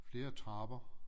Flere trapper